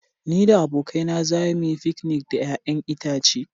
Ni da abokaina za mu yi fikinik da 'ya'yan itace.